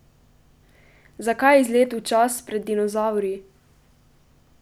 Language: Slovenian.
Zakaj izlet v čas pred dinozavri?